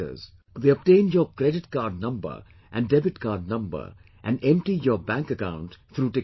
They obtain your credit card number and debit card number and empty your bank account through technology